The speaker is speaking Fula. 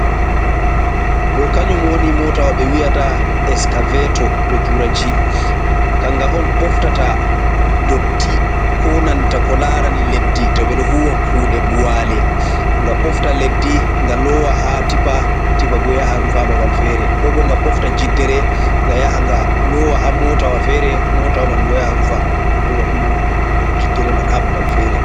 Ɗo kanyum woni mootawa ɓe wiyata eskaveto, be turanci, kannga on ɓoftata ndotti ko nanta ko larani leddi to ɓe ɗo huwa kuɗe buwale. Nga ɓofta leddi nga loowa haa tippa, tipa bo yaha rufa babal feere ,ko bo nga ɓofta jiddere nga yaha nga loowa haa motawa fere ,motawa man bo yaha rufa jiddere man haa babal fere.